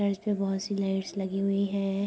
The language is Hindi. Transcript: पे बहुत सी लाइट्स लगी हुई है ।